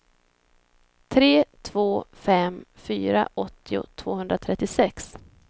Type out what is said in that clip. tre två fem fyra åttio tvåhundratrettiosex